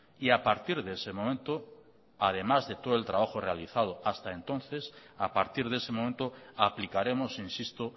y a partir de ese momento además de todo el trabajo realizado hasta entonces a partir de ese momento aplicaremos insisto